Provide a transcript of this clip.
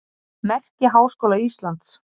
Merki Háskóla Íslands.